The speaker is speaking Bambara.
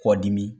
Kɔdimi